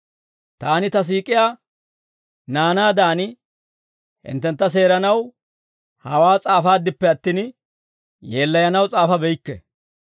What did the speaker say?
Taani ta siik'iyaa naanaadan, hinttentta seeranaw hawaa s'aafaaddippe attin, yeellayanaw s'aafabeykke.